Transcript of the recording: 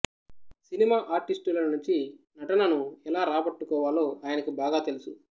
cinema ఆర్టిస్టుల నుంచి నటనను ఎలా రాబట్టుకోవాలో ఆయనకు బాగా తెలుసు